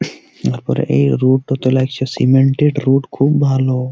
উপরে এই রুট তোলা কিছু সিমেন্ট -র রুট খুব ভালো ।